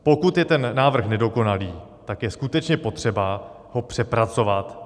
Pokud je ten návrh nedokonalý, tak je skutečně potřeba ho přepracovat.